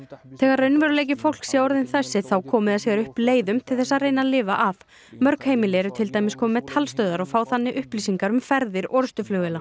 þegar raunveruleiki fólks sé þessi komi það sér upp leiðum til þess að reyna að lifa af mörg heimili eru til dæmis komin með talstöðvar og fá þannig upplýsingar um ferðir orrustuflugvéla